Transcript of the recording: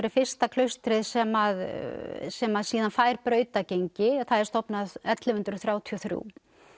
er fyrsta klaustrið sem sem að síðan fær brautargengi það er stofnað ellefu hundruð þrjátíu og þrjú